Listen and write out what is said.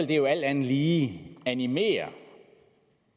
det jo alt andet lige animere